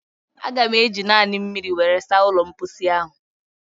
Aga m eji naanị mmiri were saa ụlọ mposi ahụ